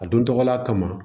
A don tɔgɔla kama